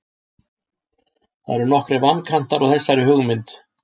Það eru nokkrir vankantar á þessari hugmynd.